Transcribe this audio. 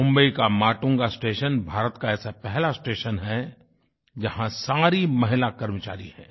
मुंबई का माटुंगा स्टेशन भारत का ऐसा पहला स्टेशन है जहाँ सारी महिला कर्मचारी हैं